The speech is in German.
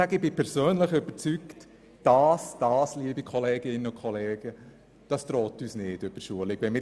Ich bin persönlich davon überzeugt, dass uns dies nicht droht.